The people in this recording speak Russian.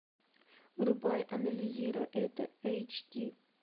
врубай анализируй это эйч ди